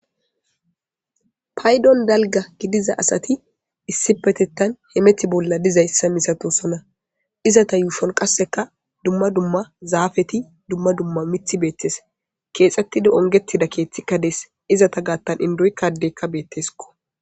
Paydon dalga gidiza asati issipetetan hemeta bolla dizaysa misatosona izeta yushuwan qaseka dumma dumma zafet dumma dumma mithat betes. Iza yushon qase kethetid ongetida kethika betes ,izeta gathan indoyka adeyka betesko